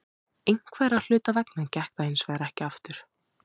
Einhverra hluta vegna gekk það hinsvegar ekki eftir.